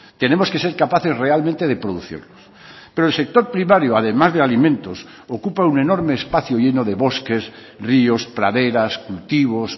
tenemos que ser capaces realmente de producirlos pero el sector primario además de alimentos ocupa un enorme espacio lleno de bosques ríos praderas cultivos